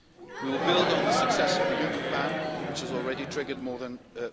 We will build on the success of the Juncker Plan, which has already triggered more than EUR